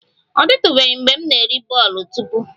Ọ dịtụbeghị mgbe m na-eri bole tupu